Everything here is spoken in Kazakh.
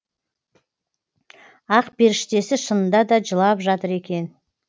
ақперіштесі шынында да жылап жатыр екен